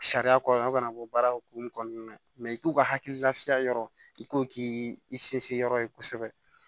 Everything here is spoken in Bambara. Sariya kɔnɔna bɔ baara hokumu kɔnɔna na i k'u ka hakililafiya yɔrɔ i ko k'i sinsin yɔrɔ ye kosɛbɛ